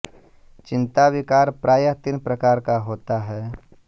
चिन्ता विकार प्रायः तीन प्रकार का होता है